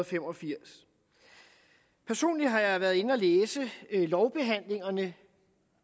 fem og firs personligt har jeg været inde at læse lovbehandlingerne